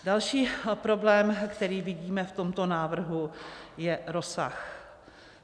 Další problém, který vidíme v tomto návrhu, je rozsah.